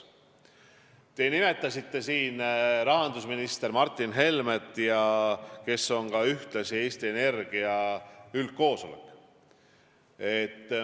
Te nimetasite siin rahandusminister Martin Helmet, kes on ühtlasi Eesti Energia üldkoosolek.